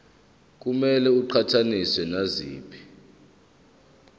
kumele iqhathaniswe naziphi